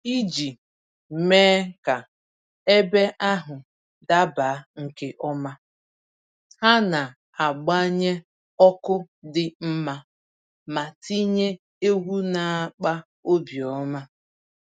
Iji mee ka ebe ahụ daba nke ọma, ha na-agbanye ọkụ dị mma ma tinye egwu na-akpa obi ọma